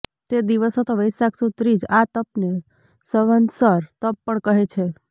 તે દિવસ હતો વૈશાખ સુદ ત્રીજ આ તપને સંવત્સર તપ પણ કહે છે